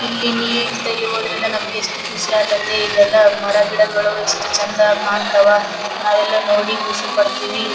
ಇಲ್ಲಿ ನೀರ್ ನಿಂತಲ್ಲಿ ಹೋದ್ರೆಲ್ಲ ನಮಗೆ ಎಷ್ಟು ಖುಷಿ ಆತತಿ ಇದೆಲ್ಲಾ ಮರಗಿಡಗಳು ಎಷ್ಟು ಚಂದಾ ಕಾಂತ್ವ್ ನಾವೆಲ್ಲಾ ನೋಡಿ ಖುಷಿ ಪಡ್ತಿವಿ.